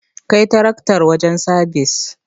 Kai taraktar wajen sabis.